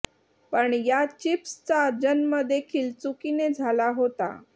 पण या चीप्सचा जन्म देखील चुकीने झाला होता